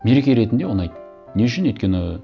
мереке ретінде ұнайды не үшін өйткені